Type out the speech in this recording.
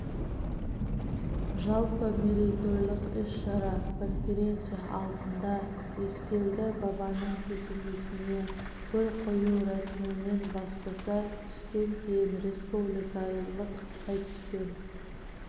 жалпы мерейтойлық іс-шара конференция алдында ескелді бабаның кесенесіне гүл қою рәсімімен бастаса түстен кейін республикалық айтыспен